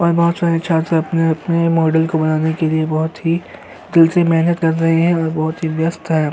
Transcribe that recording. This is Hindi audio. और बोहोत सरे छात्र अपने-अपने मॉडल को बनाने के लिए बोहोत ही दिल से मेहनत कर रहे हैं और बोहोत ही व्यस्त है।